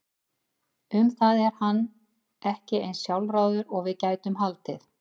Um það er hann ekki eins sjálfráður og við gætum haldið.